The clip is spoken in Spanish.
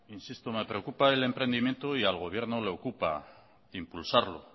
insisto me preocupa el emprendimiento y al gobierno le ocupa impulsarlo